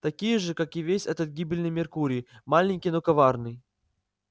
такие же как и весь этот гибельный меркурий маленький но коварный